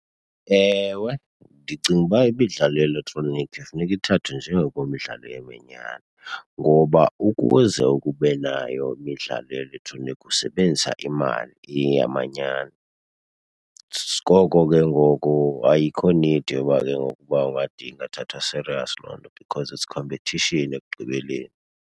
Ewe, ndicinga uba imidlalo ye-elektroniki kufuneka ithathwe njengokwemidlalo yamanyani ngoba ukuze uke ube nayo imidlalo ye-elektroniki usebenzisa imali iyeyamanyani. Ngoko ke ngoku ayikho need yoba ke ngoku uba ungade ingathathwa serious loo nto because it's competition ekugqibeleni.